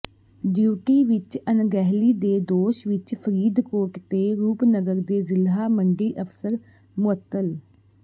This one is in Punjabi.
ਡਿਊਟੀ ਵਿੱਚ ਅਣਗਹਿਲੀ ਦੇ ਦੋਸ਼ ਵਿੱਚ ਫਰੀਦਕੋਟ ਤੇ ਰੂਪਨਗਰ ਦੇ ਜ਼ਿਲ੍ਹਾ ਮੰਡੀ ਅਫ਼ਸਰ ਮੁਅੱਤਲ